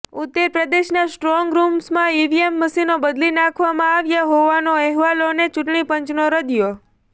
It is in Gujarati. ઉત્તર પ્રદેશના સ્ટ્રોંગ રૂમ્સમાં ઈવીએમ મશીનો બદલી નાખવામાં આવ્યા હોવાના અહેવાલોને ચૂંટણી પંચનો રદિયો